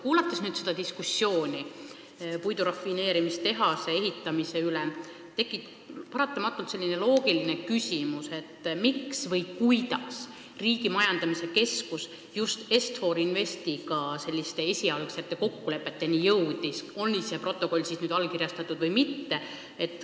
Kuulates nüüd seda diskussiooni puidurafineerimistehase ehitamise üle, tekib paratamatult loogiline küsimus, kuidas Riigimetsa Majandamise Keskus just Est-For Investiga selliste esialgsete kokkulepeteni jõudis, oli too protokoll siis allkirjastatud või mitte.